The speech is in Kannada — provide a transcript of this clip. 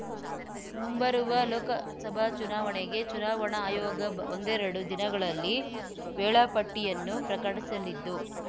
ಮುಂಬರುವ ಲೋಕಸಭಾ ಚುನಾವಣೆಗೆ ಚುನಾವಣಾ ಆಯೋಗ ಒಂದೆರಡು ದಿನಗಳಲ್ಲಿ ವೇಳಾಪಟ್ಟಿಯನ್ನು ಪ್ರಕಟಿಸಲಿದ್ದು